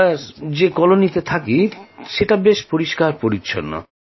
আমরা যে কলোনিতে থাকি তা বেশ পরিষ্কার পরিচ্ছন্ন